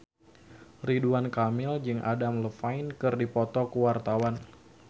Ridwan Kamil jeung Adam Levine keur dipoto ku wartawan